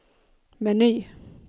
meny